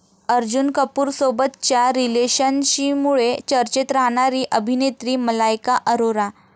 अर्जुन कपूरसोबतच्या रिलेशनशिमुळे चर्चेत राहणारी अभिनेत्री मलायका अरोरा.